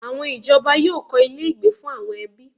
Àwọn ìjọba yóò kọ́ ilé-ìgbé fún àwọn ẹbí.